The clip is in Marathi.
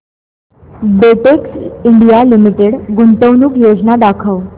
बेटेक्स इंडिया लिमिटेड गुंतवणूक योजना दाखव